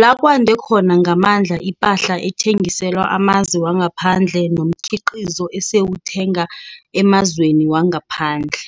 lakwande khona ngamandla ipahla ethengiselwa amazwe wangaphandle no mkhiqizo esiwuthenga emazweni wangaphandle.